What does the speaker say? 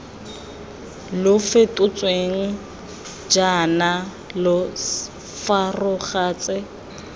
lo fetotsweng kana lo fosagatse